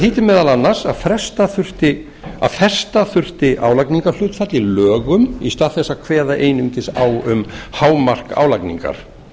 þýddi meðal annars að festa þurfti álagningarhlutfall í lögum í stað þess að kveða einungis á um hámark álagningar